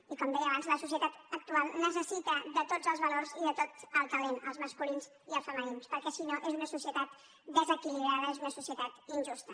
i com deia abans la societat actual necessita tots els valors i tot el talent els masculins i els femenins perquè si no és una societat desequili·brada és una societat injusta